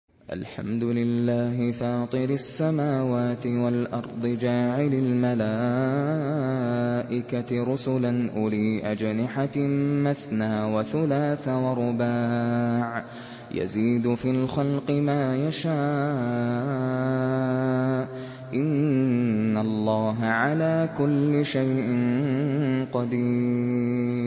الْحَمْدُ لِلَّهِ فَاطِرِ السَّمَاوَاتِ وَالْأَرْضِ جَاعِلِ الْمَلَائِكَةِ رُسُلًا أُولِي أَجْنِحَةٍ مَّثْنَىٰ وَثُلَاثَ وَرُبَاعَ ۚ يَزِيدُ فِي الْخَلْقِ مَا يَشَاءُ ۚ إِنَّ اللَّهَ عَلَىٰ كُلِّ شَيْءٍ قَدِيرٌ